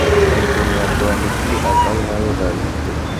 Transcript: Maitũ nĩ aatwandĩkire atarĩ na rũtha rwĩtũ